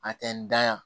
A tɛ n da yan